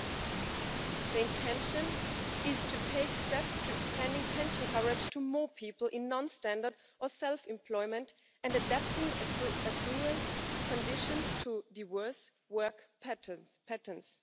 Yes, we know that our pension systems are confronted with difficult challenges because of ageing and because the poverty we still have among pensioners is not being reduced.